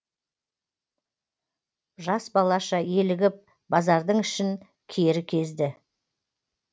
жас балаша елігіп базардың ішін кері кезді